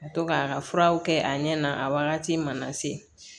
Ka to k'a ka furaw kɛ a ɲɛna a wagati mana se